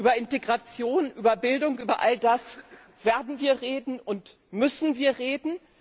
Über Integration, über Bildung, über all das werden und müssen wir reden.